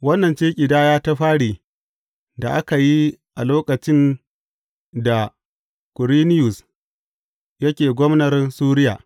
Wannan ce ƙidaya ta fari da aka yi a lokacin da Kwiriniyus yake gwamnar Suriya.